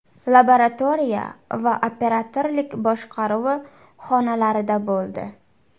Laboratoriya va operatorlik boshqaruvi xonalarida bo‘ldi.